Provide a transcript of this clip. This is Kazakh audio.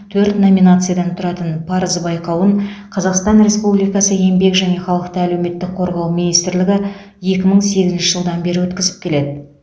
төрт номинациядан тұратын парыз байқауын қазақстан республикасы еңбек және халықты әлеуметтік қорғау министрлігі екі мың сегізінші жылдан бері өткізіп келеді